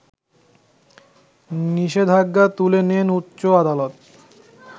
নিষেধাজ্ঞা তুলে নেন উচ্চ আদালত